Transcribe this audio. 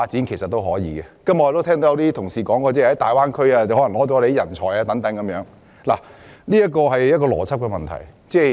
今天我聽到很多同事提到粵港澳大灣區搶走香港人才的問題，當中其實牽涉一個邏輯問題。